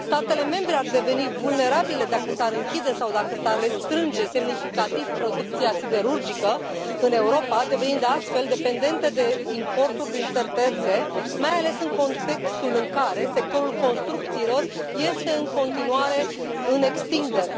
Statele membre ar deveni vulnerabile dacă s ar închide sau dacă s ar restrânge semnificativ producția siderurgică în Europa, devenind astfel dependentă de importuri din țări terțe, mai ales în contextul în care sectorul construcțiilor este în continuare în extindere.